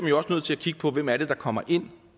jo også nødt til at kigge på hvem det er der kommer ind